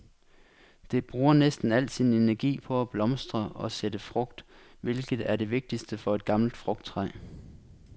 Det bruger næsten al sin energi på at blomstre og sætte frugt, hvilket er det vigtigste for et gammelt frugttræ.